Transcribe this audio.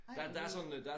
Ej hvor vildt